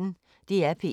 DR P1